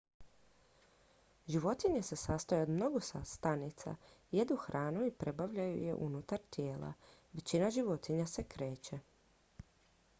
životinje se sastoje od mnogo stanica jedu hranu i probavljaju je unutar tijela većina životinja se kreće